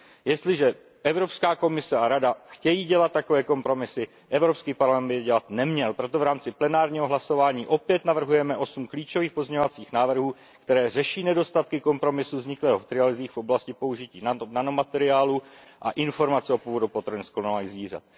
Jestliže Evropská komise a Rada chtějí dělat takové kompromisy, Evropský parlament by je dělat neměl, proto v rámci plenárního hlasování opět navrhujeme osm klíčových pozměňovacích návrhů, které řeší nedostatky kompromisu vzniklého v trialozích v oblasti použití nanomateriálů a informovanosti o původu potravin z klonovaných zvířat.